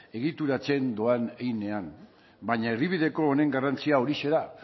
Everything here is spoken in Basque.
egituratzen doan heinean baina erdibideko honen garrantzia horixe da